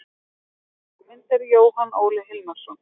Heimildir og myndir: Jóhann Óli Hilmarsson.